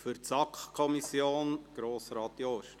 Für die SAK: Grossrat Jost.